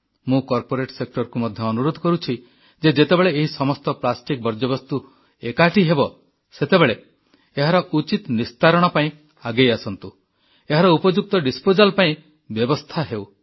ମୁଁ କର୍ପୋରେଟ ସେକ୍ଟରକୁ ମଧ୍ୟ ଅନୁରୋଧ କରୁଛି ଯେ ଯେତେବେଳେ ଏହି ସମସ୍ତ ପ୍ଲାଷ୍ଟିକ ବର୍ଜ୍ୟବସ୍ତୁ ଏକାଠି ହେବ ସେତେବେଳେ ଏହାର ଉଚିତ ନିସ୍ତାରଣ ଡିକାଣ୍ଟେସନ୍ ପାଇଁ ଆଗେଇ ଆସନ୍ତୁ ଏହାର ଉପଯୁକ୍ତ ଡିସପୋଜାଲ ପାଇଁ ବ୍ୟବସ୍ଥା ହେଉ